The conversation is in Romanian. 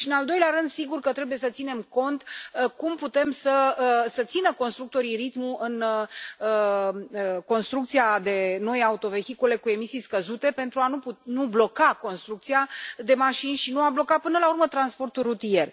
Și, în al doilea rând, sigur că trebuie să ținem cont de cum pot să țină constructorii ritmul în construcția de noi autovehicule cu emisii scăzute pentru a nu bloca construcția de mașini și a nu bloca, până la urmă, transportul rutier.